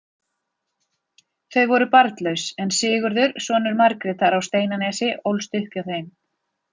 Þau voru barnlaus, en Sigurður, sonur Margrétar á Steinanesi, ólst upp hjá þeim.